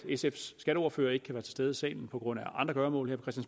sfs skatteordfører ikke kan være til stede i salen på grund af andre gøremål her